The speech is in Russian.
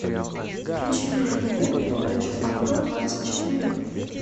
включи мне на тв передачу авто двадцать четыре